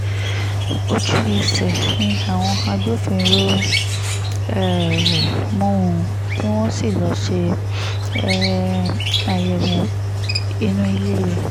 ojú-ẹsẹ̀ ni àwọn agbófinró um mú un tí wọ́n sì lọ́ọ́ ṣe um àyẹ̀wò inú ilé rẹ̀